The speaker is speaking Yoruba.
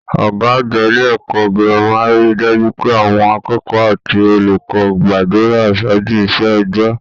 Ọgá àgbà ilé ẹ̀kọ́ gírámà rí dájú pé àwọn akẹ́kọ̀ọ́ àti olùkọ́ gbàdúrà ṣáájú iṣẹ oojọ.